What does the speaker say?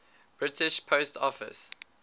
british post office